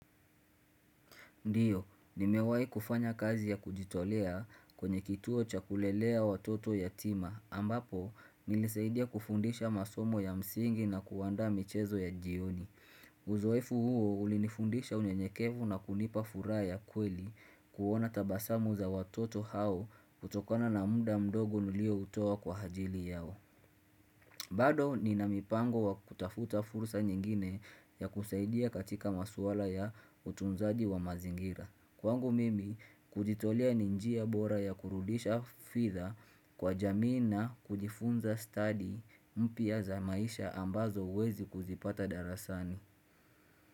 Ndiyo, nimewai kufanya kazi ya kujitolea kwenye kituo cha kulelea watoto yatima, ambapo nilisaidia kufundisha masomo ya msingi na kuwaanda michezo ya jioni. Uzoefu huo ulinifundisha unye nyekevu na kunipa furaa ya kweli kuona tabasamu za watoto hao kutokana na muda mdogo nilio utoa kwa hajili yao. Bado ni na mpango wa kutafuta fursa nyingine ya kusaidia katika maswala ya utunzaji wa mazingira. Kwangu mimi kujitolea ninjia bora ya kurudisha fitha kwa jamina kujifunza study mpia za maisha ambazo uwezi kuzipata darasani.